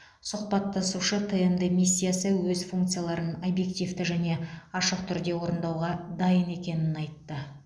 сұхбаттасушы тмд миссиясы өз функцияларын объективті және ашық түрде орындауға дайын екенін айтты